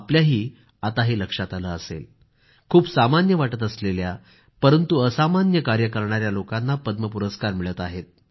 आपल्याही आता लक्षात आलं असेल की खूप सामान्य वाटत असलेल्या परंतु असामान्य कार्य करणाऱ्या लोकांना पद्म पुरस्कार मिळत आहेत